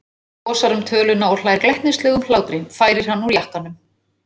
Hún losar um töluna og hlær glettnislegum hlátri, færir hann úr jakkanum.